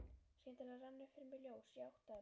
Skyndilega rann upp fyrir mér ljós, ég áttaði mig.